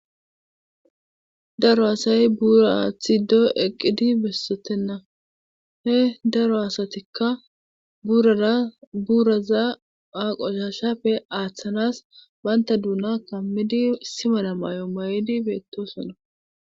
daro asay buura aathido eqqidi besotenna he daro asatikka buurara buuraza qoshashappe aathanas bantta duuna kammidi issi mala mayo mayidi beettoosona.